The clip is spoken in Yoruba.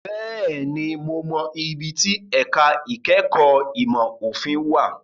Bẹ́ẹ̀ni, mo mọ ibi tí ẹ̀ka ìkẹ́kọ̀ọ́ ìmọ̀ òfin wà.